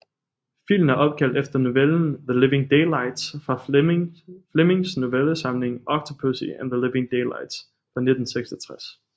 Filmen er opkaldt efter novellen The Living Daylights fra Flemings novellesamling Octopussy and The Living Daylights fra 1966